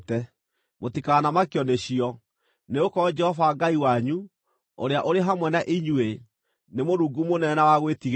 Mũtikamakio nĩcio, nĩgũkorwo Jehova Ngai wanyu, ũrĩa ũrĩ hamwe na inyuĩ, nĩ Mũrungu mũnene na wa gwĩtigĩrwo.